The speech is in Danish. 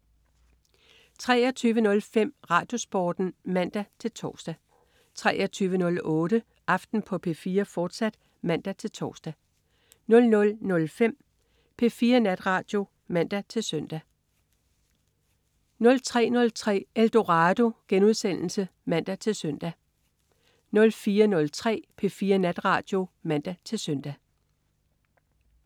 23.05 RadioSporten (man-tors) 23.08 Aften på P4, fortsat (man-tors) 00.05 P4 Natradio (man-søn) 03.03 Eldorado* (man-søn) 04.03 P4 Natradio (man-søn)